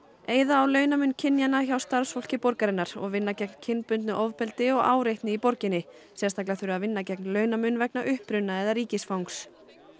eyða á launamun kynjanna hjá starfsfólki borgarinnar og vinna gegn kynbundnu ofbeldi og áreitni í borginni sérstaklega þurfi að vinna gegn launamun vegna uppruna eða ríkisfangs